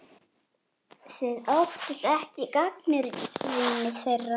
Þið óttist ekki gagnrýni þeirra?